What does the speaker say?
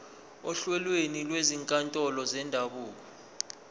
ohlelweni lwezinkantolo zendabuko